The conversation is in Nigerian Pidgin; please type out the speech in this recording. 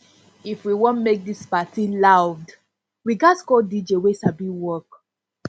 if we wan make this party loud we ghas call dj wey sabi work